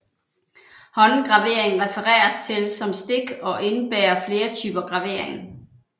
Håndgravering refereres til som stik og indebærer flere typer gravering